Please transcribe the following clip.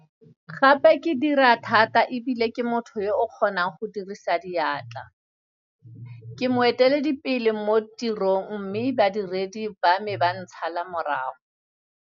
Gape ke dira thata e bile ke motho yo o kgonang go dirisang diatla. Ke moeteledipeIe mo tirong mme badiredi ba me ba ntshala morago.